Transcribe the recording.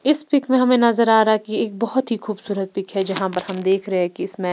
इस पिक में हमें नजर आ रहा है कि एक बहुत ही खूबसूरत पिक है जहां पर हम देख रहे हैं कि इसमें--